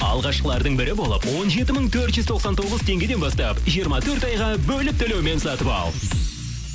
алғашқылардың бірі болып он жеті мың төрт жүз тоқсан тоғыз теңгеден бастап жиырма төрт айға бөліп төлеумен сатып ал